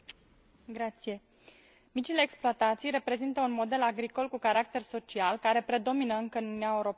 Mulțumesc. Micile exploatații reprezintă un model agricol cu caracter social care predomină încă în Uniunea Europeană.